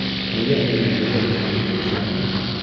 Nega aynan bizdan xarid qilishadi?